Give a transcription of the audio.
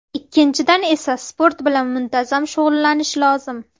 Ikkinchidan esa sport bilan muntazam shug‘ullanish lozim.